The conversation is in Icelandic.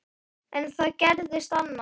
En það gerðist annað.